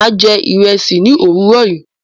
Mà á jẹ ìrẹsì ní òwúrọ̀ yìí.